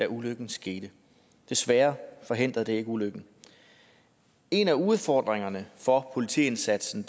ulykken skete desværre forhindrede det ikke ulykken en af udfordringerne for politiindsatsen